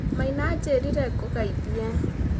Maina aanjĩrire ngũgeithie.